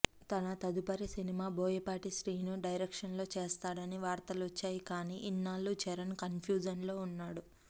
తన తదుపరి సినిమా బోయపాటి శ్రీను డైరెక్షన్లో చేస్తాడని వార్తలొచ్చాయి కానీ ఇన్నాళ్లూ చరణ్ కన్ఫ్యూజన్లో ఉన్నాడు